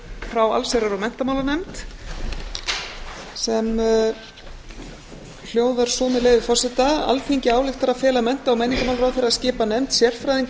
frá allsherjar og menntamálanefnd sem hljóðar svo með leyfi forseta alþingi ályktar að fela mennta og menningarmálaráðherra að skipa nefnd sérfræðinga